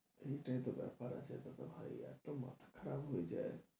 এই টাই তো ব্যাপার আছে দাদাভাই এতো মাথা খারাপ হয়ে যায়।